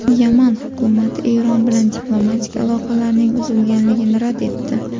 Yaman hukumati Eron bilan diplomatik aloqalarning uzilganligini rad etdi.